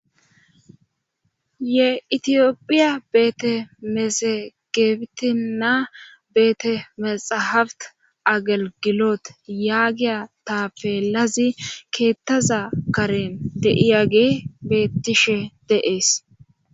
He itiyophiya beete mesegeebitina beete mexahabt agalgiloot yaagiya ta peelazi keettaza karen deiyage beettishe de7ees